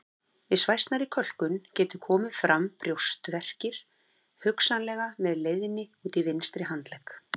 Við svæsnari kölkun geta komið fram brjóstverkir hugsanlega með leiðni út í vinstri handlegg.